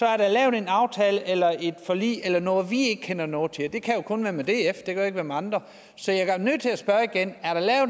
er der lavet en aftale eller et forlig eller noget som vi ikke kender noget til og det kan jo kun være med df det kan være med andre så jeg er nødt til at spørge igen